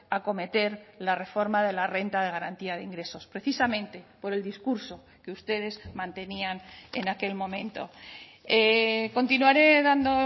acometer la reforma de la renta de garantía de ingresos precisamente por el discurso que ustedes mantenían en aquel momento continuaré dando